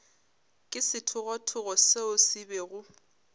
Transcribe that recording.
ke sethogothogo seo se bego